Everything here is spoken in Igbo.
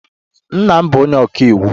Nna m bụ onye ọka iwu.